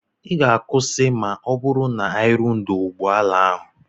Ị ga-akwụsị ma ọ bụrụ na ị ruo n'ọdụ ụgbọ ala ahụ?